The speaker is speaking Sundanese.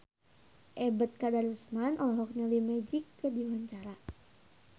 Ebet Kadarusman olohok ningali Magic keur diwawancara